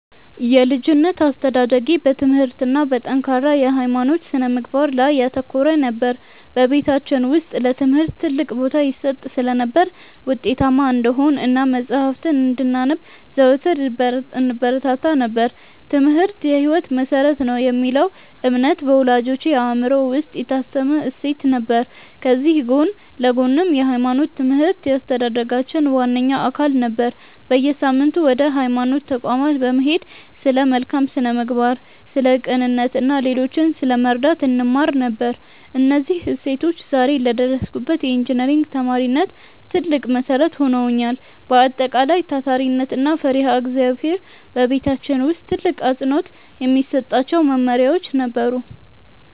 የልጅነት አስተዳደጌ በትምህርት እና በጠንካራ የሃይማኖት ስነ-ምግባር ላይ ያተኮረ ነበር። በቤታችን ውስጥ ለትምህርት ትልቅ ቦታ ይሰጥ ስለነበር፣ ውጤታማ እንድንሆን እና መጽሐፍትን እንድናነብ ዘወትር ይበረታታ ነበር፤ "ትምህርት የህይወት መሰረት ነው" የሚለው እምነት በወላጆቼ አእምሮ ውስጥ የታተመ እሴት ነበር። ከዚህ ጎን ለጎንም የሃይማኖት ትምህርት የአስተዳደጋችን ዋነኛ አካል ነበር። በየሳምንቱ ወደ ሃይማኖት ተቋማት በመሄድ ስለ መልካም ስነ-ምግባር፣ ስለ ቅንነት እና ሌሎችን ስለመርዳት እንማር ነበር። እነዚህ እሴቶች ዛሬ ለደረስኩበት የኢንጂነሪንግ ተማሪነት ትልቅ መሰረት ሆነውኛል። በአጠቃላይ፣ ታታሪነት እና ፈሪሃ እግዚአብሔር በቤታችን ውስጥ ትልቅ አፅንዖት የሚሰጣቸው መመሪያዎቻችን ነበሩ።